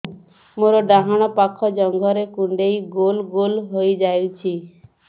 ମୋର ଡାହାଣ ପାଖ ଜଙ୍ଘରେ କୁଣ୍ଡେଇ ଗୋଲ ଗୋଲ ହେଇଯାଉଛି